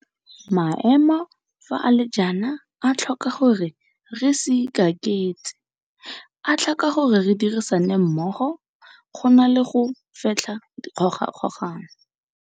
Maemo fa a le jaana a tlhoka gore re se ikaketse. A tlhoka gore re dirisane mmogo, go na le go fetlha dikgogakgogano.